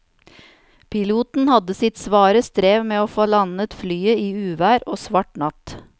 Piloten hadde sitt svare strev med å få landet flyet i uvær og svart natt.